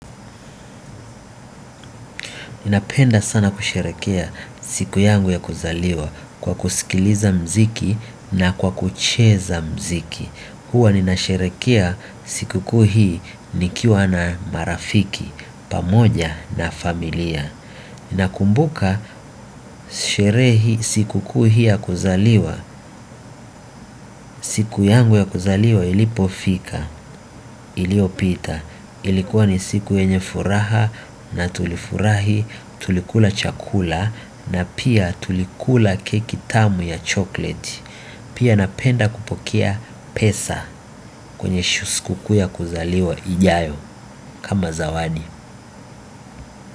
Ninapenda sana kusherekea siku yangu ya kuzaliwa kwa kusikiliza mziki na kwa kucheza mziki. Huwa ninasherekea sikukuu hii nikiwa na marafiki, pamoja na familia. Ninakumbuka sherehe sikukuu hii ya kuzaliwa, siku yangu ya kuzaliwa ilipofika, iliopita. Ilikuwa ni siku yenye furaha na tulifurahi, tulikula chakula na pia tulikula keki tamu ya chokleti. Pia napenda kupokea pesa kwenye sikukuu ya kuzaliwa ijayo kama zawadi.